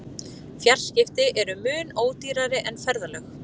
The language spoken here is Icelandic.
Fjarskipti eru mun ódýrari en ferðalög.